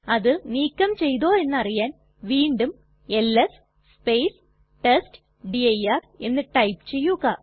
അത് നീക്കം ചെയ്തോ എന്നറിയാൻ വീണ്ടും എൽഎസ് ടെസ്റ്റ്ഡിർ എന്ന് ടൈപ്പ് ചെയ്യുക